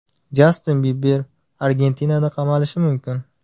Jastin Biber Argentinada qamalishi mumkin.